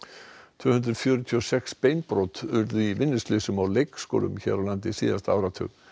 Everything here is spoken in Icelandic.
tvö hundruð fjörutíu og sex beinbrot urðu í vinnuslysum á leikskólum hér á landi síðasta áratug